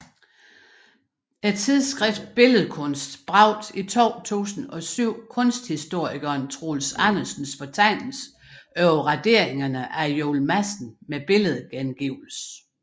Tidsskriftet Billedkunst bragte i 2007 kunsthistorikeren Troels Andersens fortegnelse over raderingerne af Juel Madsen med billedgengivelse